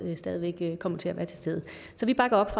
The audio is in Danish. stadig væk kommer til at være til stede så vi bakker op